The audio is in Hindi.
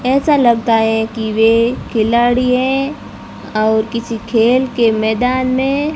ऐसा लगता है कि वे खिलाड़ी हैं और किसी खेल के मैदान में--